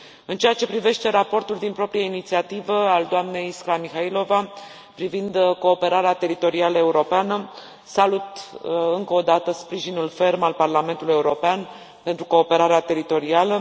În ceea ce privește raportul din proprie inițiativă al doamnei Iskra Mihaylova privind cooperarea teritorială europeană, salut încă o dată sprijinul ferm al Parlamentului European pentru cooperarea teritorială.